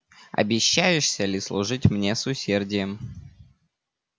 обещаешься ли служить мне с усердием